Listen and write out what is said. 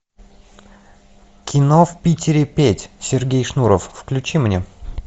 кино в питере петь сергей шнуров включи мне